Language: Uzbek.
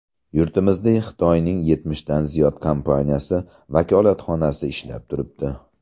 Yurtimizda Xitoyning yetmishdan ziyod kompaniyasi vakolatxonasi ishlab turibdi.